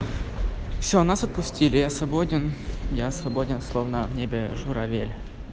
все нас отпустили я свободен я свободен словно в небе журавель